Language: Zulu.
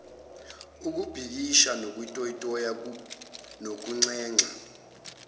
ukubhikisha ukutoyiza nokunxenxa